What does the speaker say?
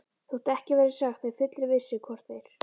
Þótt ekki verði sagt með fullri vissu, hvort þeir